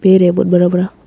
पेड़ है बहुत बड़ा बड़ा।